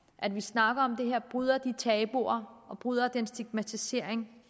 at vi snakker om det her bryder de tabuer og bryder den stigmatisering